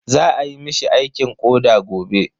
Za ayi mishi aikin koɗa gobe.